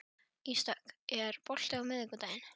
Ísdögg, er bolti á miðvikudaginn?